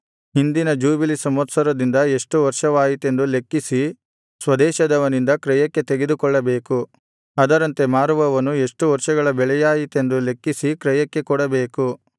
ಹಿಂದಿನ ಜೂಬಿಲಿ ಸಂವತ್ಸರದಿಂದ ಎಷ್ಟು ವರ್ಷವಾಯಿತೆಂದು ಲೆಕ್ಕಿಸಿ ಸ್ವದೇಶದವನಿಂದ ಕ್ರಯಕ್ಕೆ ತೆಗೆದುಕೊಳ್ಳಬೇಕು ಅದರಂತೆ ಮಾರುವವನು ಎಷ್ಟು ವರ್ಷಗಳ ಬೆಳೆಯಾಯಿತೆಂದು ಲೆಕ್ಕಿಸಿ ಕ್ರಯಕ್ಕೆ ಕೊಡಬೇಕು